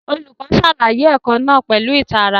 Olùkọ́ ṣàlàyé ẹ̀kọ́ náà pẹ̀lú ìtara